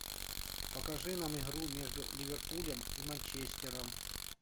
покажи нам игру между ливерпулем и манчестером